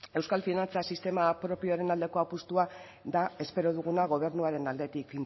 euskal finantza sistema propioaren aldeko apustua da espero duguna gobernuaren aldetik